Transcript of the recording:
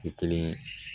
Tɛ kelen ye